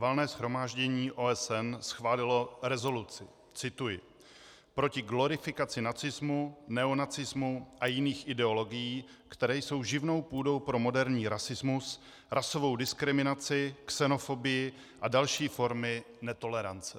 Valné shromáždění OSN schválilo rezoluci - cituji - proti glorifikaci nacismu, neonacismu a jiných ideologií, které jsou živnou půdou pro moderní rasismus, rasovou diskriminaci, xenofobii a další formy netolerance.